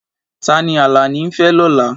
Ta ni Alani ń fẹ́ lọ́la?